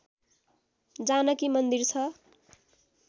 जानकी मन्दिर छ